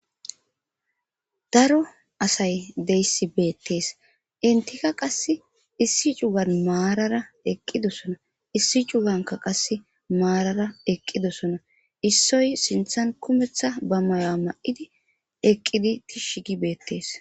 daro asay deyssi beettees intika qass issi cugan maarara eqqidossona issi cuganka qasse maarara eqqidosona issoy sinthan kumeththa ba mayoa ma7idi eqqidi tishshi gi beettees